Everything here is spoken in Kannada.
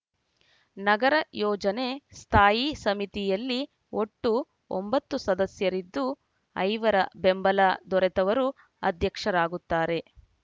ನಗರ ಯೋಜನೆ ಸ್ಥಾಯಿ ಸಮಿತಿಯಲ್ಲಿ ಒಟ್ಟು ಒಂಬತ್ತು ಸದಸ್ಯರಿದ್ದು ಐವರ ಬೆಂಬಲ ದೊರೆತವರು ಅಧ್ಯಕ್ಷರಾಗುತ್ತಾರೆ